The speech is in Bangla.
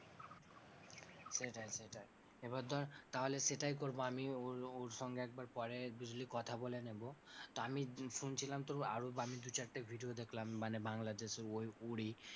সেটাই সেটাই এবার ধর তাহলে সেটাই করবো আমি ওর সঙ্গে একবার পরে বুঝলি কথা বলে নেব। তো আমি শুনছিলাম তো আরও আমি দু চারটে video দেখলাম মানে বাংলাদেশের ওইগুলোরই,